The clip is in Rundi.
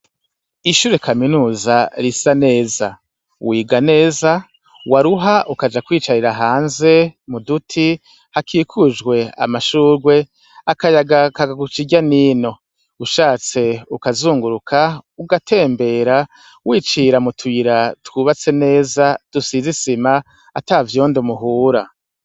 Ishure kaminuza risa neza, wiga neza waruha ukaja kwiyicarira hanze muduti hakikujwe amashurwe akayaga kakaguca irya nino, ushatse ukazunguruka ugatembera wicira mutuyira twubatse neza dusize isima atavyondo muhura.